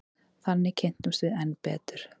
Þannig kynntumst við enn betur.